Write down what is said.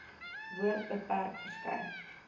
woord beperk verskyn